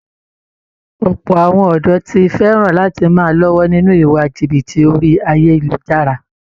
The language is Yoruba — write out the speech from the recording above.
Ọ̀pọ̀ àwọn ọ̀dọ̀ ti fẹ̀ràn lati máa lọ́wọ́ nínú iwa jìbìtì orí ayélujára